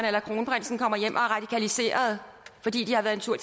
eller kronprinsen kommer hjem og er radikaliserede fordi de har været en tur